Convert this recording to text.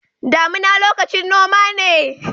Damuna lokacin noma ne.